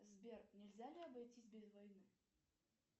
сбер нельзя ли обойтись без войны